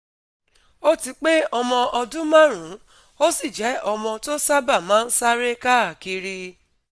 O ti pé ọmọ ọdún márùn-ún, ó sì je omo to sábà máa ń sáré káàkiri